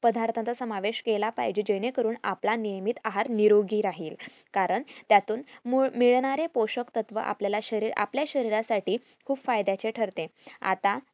पदार्थांचा समावेश केला पाहिजे जेणे करून आपला नेहेमी आहार निरोगी राहील कारण त्यातून मूळ मिळणारे पोषकतत्व आपल्या शरीर आपल्या शरीर साठी खूप फायद्याचे ठरते आता